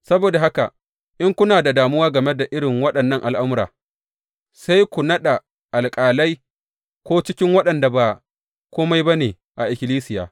Saboda haka, in kuna da damuwa game da irin waɗannan al’amura, sai ku naɗa alƙalai ko cikin waɗanda ba kome ba ne a ikkilisiya!